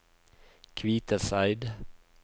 Kviteseid